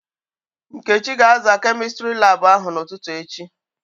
Nkechi ga-aza Kemịstri laabụ ahụ n'ụtụtụ echi.